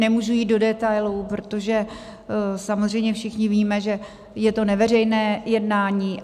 Nemůžu jít do detailů, protože samozřejmě všichni víme, že je to neveřejné jednání.